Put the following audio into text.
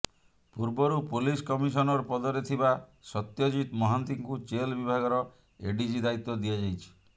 ପୂର୍ବରୁ police commissioner ପଦରେ ଥିବା ସତ୍ୟଜିତ ମହାନ୍ତିଙ୍କୁ ଜେଲ ବିଭାଗର ଏଡ଼ିଜି ଦାୟିତ୍ୱ ଦିଆଯାଇଛି